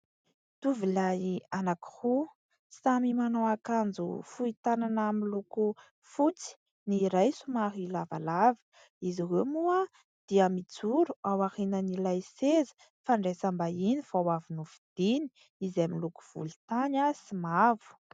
Tovolahy anankiroa samy manao akanjo fohy tanana miloko fotsy. Ny iray somary lavalava. Izy ireo moa dia mijoro ao aorian'ilay seza fandraisam-bahiny vao avy novidiany izay miloko volontany sy mavo.